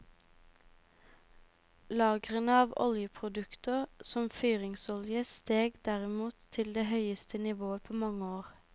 Lagrene av oljeprodukter, som fyringsolje, steg derimot til det høyeste nivået på mange år.